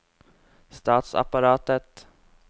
statsapparatet